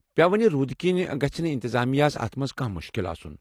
پییوٕ وٕنہِ روُدٕ كِنہِ گژھہِ نہٕ انتظامیہ ہس اتھ منز كانہہ مُشكِل آسُن ۔